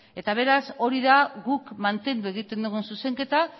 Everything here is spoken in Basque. beraz hori da guk mantendu egiten dugun zuzenketa